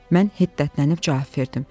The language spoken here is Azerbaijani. Mən hiddətlənib cavab verdim.